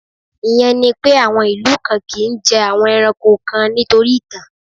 Ìyẹn ni pé, àwọn ìlú kan kì ń jẹ àwọn ẹranko kan nítorí ìtàn.